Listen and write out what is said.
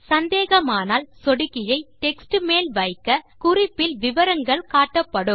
சந்தேகமானால் சொடுக்கியை டெக்ஸ்ட் மேல் வைக்க குறிப்பில் விவரங்கள் காட்டப்படும்